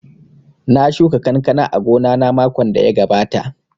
Na shuka kankana a gona na makon da ya gabata